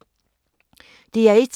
DR1